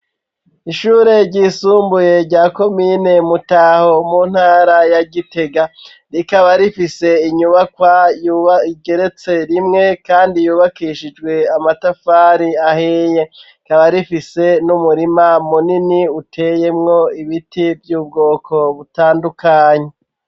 Ishure ryisumbuye rya komine Mutaho, mu ntara ya Gitega, rikaba rifise inyubakwa yubatse igeretse rimwe kandi yubakishijwe amatafari ahiye. Rikaba rifise n'umurima munini uteyemwo ibiti vy'ubwoko butandukanye.